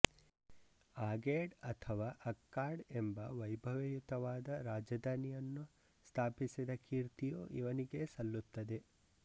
ಆಗೇಡ್ ಅಥವಾ ಅಕ್ಕಾಡ್ ಎಂಬ ವೈಭವಯತವಾದ ರಾಜಧಾನಿಯನ್ನು ಸ್ಥಾಪಿಸಿದ ಕೀರ್ತಿಯೂ ಇವನಿಗೆ ಸಲ್ಲುತ್ತದೆ